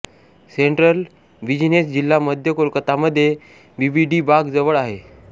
central business जिल्हा मध्य कोलकातामध्ये बीबीडीबाग जवळ आहे